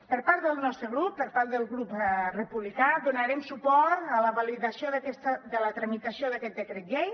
per part del nostre grup per part del grup republicà donarem suport a la validació de la tramitació d’aquest decret llei